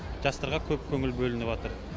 жастарға көп көңіл бөлініватыр